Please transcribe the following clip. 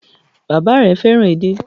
Bàbá rẹ fẹ́ràn edé.